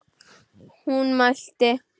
Hún mælti: